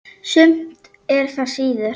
Sumt er það síður.